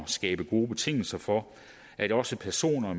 skabe gode betingelser for at også personer